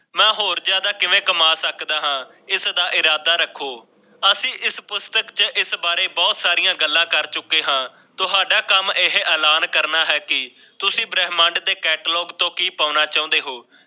ਮੈਂ ਹੋਰ ਜਿਆਦਾ ਕਿਵੇਂ ਕਮਾ ਸਕਦਾ ਹਾਂ ਈਦ ਦਾ ਇਰਾਦਾ ਰੱਖੋ। ਅਸੀ ਇਸ ਪੁਸਤਕ ਚ ਇਸ ਬਾਰੇ ਬਹੁਤ ਸਾਰੀਆਂ ਗੱਲਾਂ ਕਰ ਚੁੱਕੇ ਹਾਂ, ਤੁਹਾਡਾ ਕਮ ਇਹ ਐਲਾਨ ਕਰਨਾ ਹੈ ਕਿ ਤੁਸੀਂ ਬ੍ਰਹਿਮੰਡ ਦੇ ਕਤਾਲੋਂਗੋਊ ਤੋਂ ਕੀ ਪਾਉਣਾ ਚਾਹੁੰਦੇ ਹੋ।